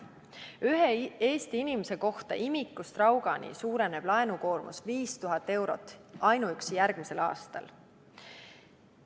Ühe Eesti inimese kohta imikust raugani suureneb laenukoormus 5000 eurot ainuüksi järgmisel aastal.